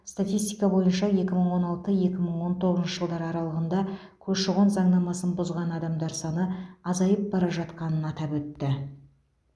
статистика бойынша екі мың он алты екі мың он тоғызыншы жылдар аралығында көші қон заңнамасын бұзған адамдар саны азайып бара жатқанын атап өтті